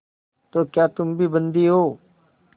तो क्या तुम भी बंदी हो